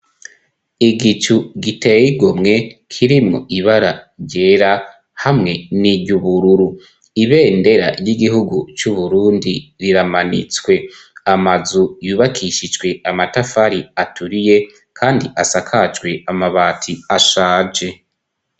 Igicu giteyigo mwe kirimwo ibara ryera hamwe n'iryoubururu ibendera ry'igihugu c'uburundi riramanitswe amazu yubakishijwe amatafari aturiye, kandi asakajwe amabati ashaje.